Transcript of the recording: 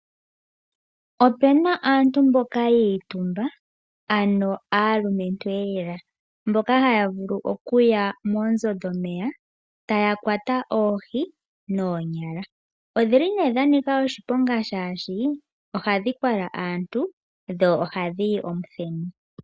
Opuna aantu mboka yiitumba ano aalumentulela mboka haya vulu okuya moonzo dhomeya taya kwata oohi noonyala. Odhili nee dhanika oshiponga shaashi ohadhi kwala aantu dho ohadhiyi omuthenu.